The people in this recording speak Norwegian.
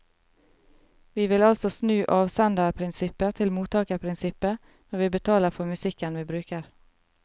Vi vil altså snu avsenderprinsippet til mottakerprinsippet når vi betaler for musikken vi bruker.